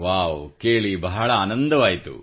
wow ಕೇಳಿ ಬಹಳ ಆನಂದವಾಯಿತು